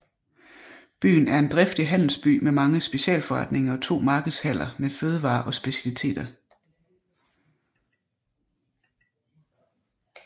Byen er en driftig handelsby med mange specialforretninger og to markedshaller med fødevarer og specialiteter